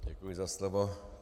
Děkuji za slovo.